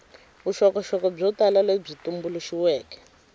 vuxokoxoko byo tala lebyi tumbuluxiweke